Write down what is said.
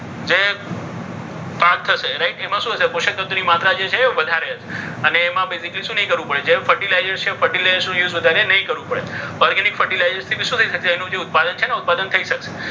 પાક થશે. right એમાં શું હશે? પોષક તત્વોની જે માત્રા છે એ વધારે હશે. અને એમાં શું નહીં કરવું પડે? જે ફર્ટિલાઇઝર છે. એનો use વધારે નહીં કરવો પડે. organic fertilizer છે એ શું થઈ જશે? એનું ઉત્પાદન છે ને ઉત્પાદન થઈ શકશે.